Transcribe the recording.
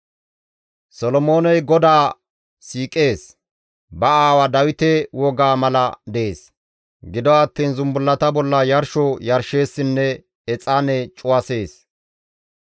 Solomooney GODAA siiqees; ba aawa Dawite wogaa mala dees; gido attiin zumbullata bolla yarsho yarsheessinne exaane cuwasees.